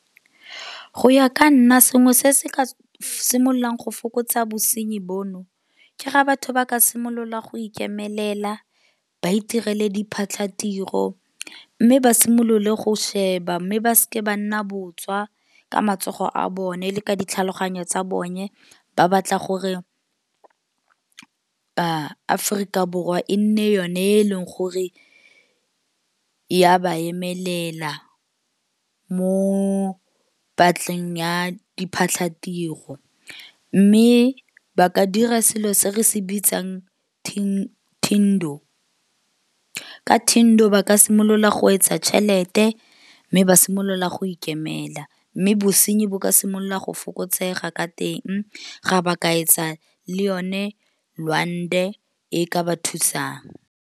Go ya ka nna sengwe se se ka simolola go fokotsa bosenyi bono. Ke ga batho ba ka simolola go ikemelela, ba itireleng di phatlhatiro, mme ba simolole go sheba. Mme ba seke ba nna botswa ka matsogo a bone. Le ka ditlhaloganyo tsa bone, ba batla gore Aforika Borwa e nne yone e leng gore ya ba emelela. Mo batleng ya diphatlatiro. Mme ba ka dira selo se re se bitsang thindo ka thindo ba ka simololang go etsa tšhelete, mme ba simolola go ikemela. Mme bosenyi bo ka simolola go fokotsega ka teng ga ba ka etsa le yone lwande e ka ba thusang.